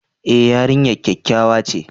E, yarinyar kyakkyawa ce.